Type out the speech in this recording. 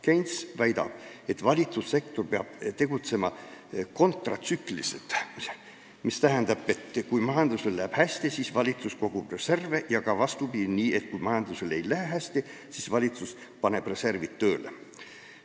Keynes väidab, et valitsussektor peab tegutsema kontratsükliliselt, mis tähendab, et kui majandusel läheb hästi, siis valitsus kogub reserve, ja ka vastupidi, kui majandusel ei lähe hästi, siis valitsus paneb reservid tööle.